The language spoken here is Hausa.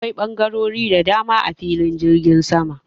Akwai bangarori da dama a filin jirgi.